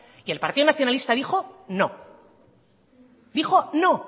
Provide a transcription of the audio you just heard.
y el partido nacionalista dijo no dijo no